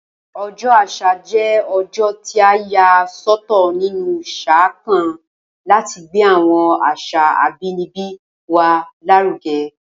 O̩jó̩ Às̩à jé̩ o̩jó̩ tí a yà só̩tò̩ nínú sáà kan láti gbé àwo̩n às̩à abínibí wa lárúge̩